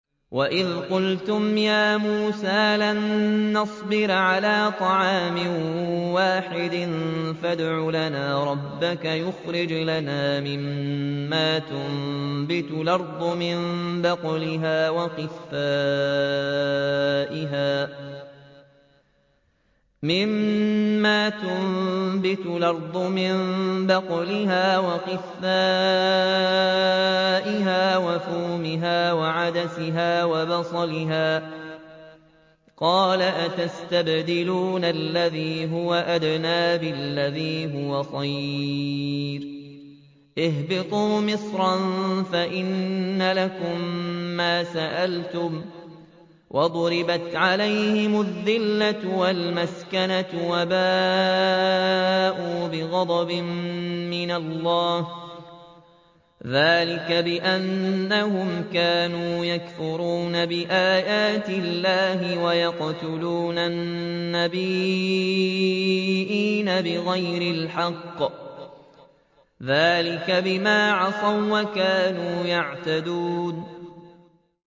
وَإِذْ قُلْتُمْ يَا مُوسَىٰ لَن نَّصْبِرَ عَلَىٰ طَعَامٍ وَاحِدٍ فَادْعُ لَنَا رَبَّكَ يُخْرِجْ لَنَا مِمَّا تُنبِتُ الْأَرْضُ مِن بَقْلِهَا وَقِثَّائِهَا وَفُومِهَا وَعَدَسِهَا وَبَصَلِهَا ۖ قَالَ أَتَسْتَبْدِلُونَ الَّذِي هُوَ أَدْنَىٰ بِالَّذِي هُوَ خَيْرٌ ۚ اهْبِطُوا مِصْرًا فَإِنَّ لَكُم مَّا سَأَلْتُمْ ۗ وَضُرِبَتْ عَلَيْهِمُ الذِّلَّةُ وَالْمَسْكَنَةُ وَبَاءُوا بِغَضَبٍ مِّنَ اللَّهِ ۗ ذَٰلِكَ بِأَنَّهُمْ كَانُوا يَكْفُرُونَ بِآيَاتِ اللَّهِ وَيَقْتُلُونَ النَّبِيِّينَ بِغَيْرِ الْحَقِّ ۗ ذَٰلِكَ بِمَا عَصَوا وَّكَانُوا يَعْتَدُونَ